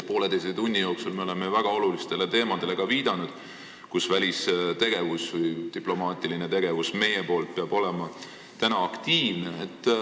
Poolteise tunni jooksul me oleme viidanud väga olulistele teemadele, mille puhul meie välistegevus või diplomaatiline tegevus peab olema aktiivne.